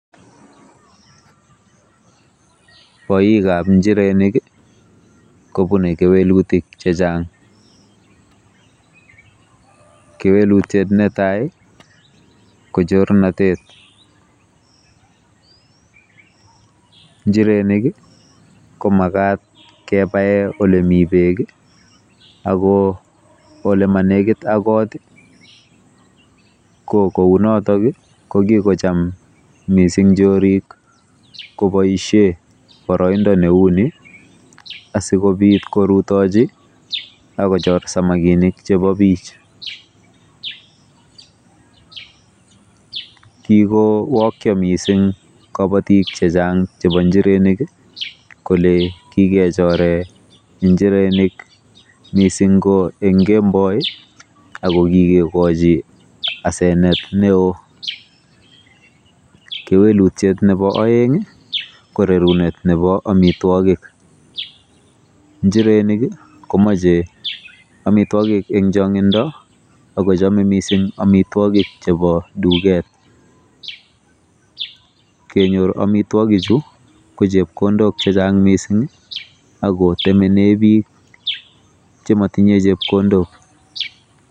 Boikab njirenik kobune kewelutik checheng. Kewelutiet netai ko chornotet. Njirenik ko makat kebae olemi bek ak oleemenekitakot ko kounotok ko kikocham mising chorik koboisie boroindo neuni asikobit korutochi akochor samakinik chebo bich. Kikowokyo mising kabatik chechang chebo njirenik kole kikechore njirenik mising ko eng kemboi akokikokochi asenet neo. Kewelutiet nebo oeng ko rerunet nebo omitwogik. Njirenik komache omitwogik eng chongindo akochomei mising omitwogik chebo duket. Kenyor omitwogichu ko chepkondok chechang mising akotemene bik chematinye chepkondok.